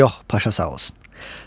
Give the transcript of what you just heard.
Yox, Paşa, sağ olsun.